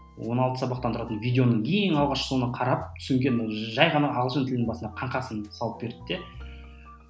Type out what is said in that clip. он алты сабақтан тұратын видеоның ең алғашқы соны қарап содан кейін жай ғана ағылшын тілінің басына қаңқасын салып берді де